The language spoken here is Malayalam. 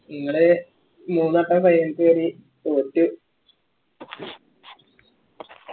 നിങ്ങള് മൂന്ന് വട്ടാ final ക്ക് കേറിയേ തോറ്റു